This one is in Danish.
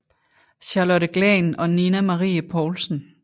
Charlotte Glahn og Nina Marie Poulsen